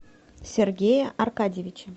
сергея аркадьевича